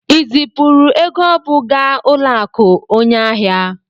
I zipụrụ ego ọ bụ gaa ụlọakụ onye ahịa?